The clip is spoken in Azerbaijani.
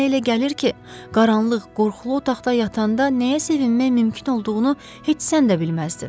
Mənə elə gəlir ki, qaranlıq, qorxulu otaqda yatanda nəyə sevinmək mümkün olduğunu heç sən də bilməzdin.